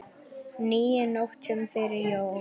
níu nóttum fyrir jól